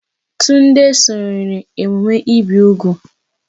Tunde sonyeere emume ibi úgwù.